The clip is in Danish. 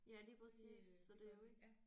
Ja lige præcis så det er jo ikke